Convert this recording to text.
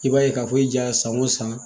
I b'a ye k'a fɔ i ja san o san